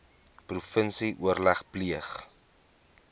provinsie oorleg pleeg